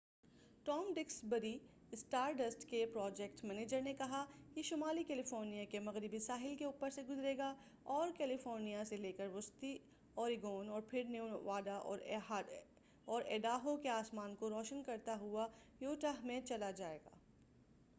Tom Duxbury Stardust کے project manager نے کہا یہ شمالی کیلیفورنیا کے مغربی ساحل کے اوپر سے گزرے گا اور کیلیفورنیا سے لے کر وسطی اوریگون اور پھر نیواڈا اور ایڈاہو کے آسمان کو روشن کرتا ہوا یوٹاہ میں چلا جائے گا